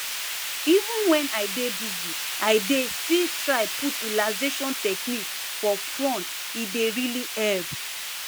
even wen i dey busy i dey still try put relaxation techniques for front e dey really help